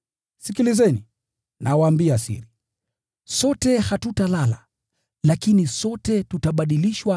Sikilizeni, nawaambia siri: Sote hatutalala, lakini sote tutabadilishwa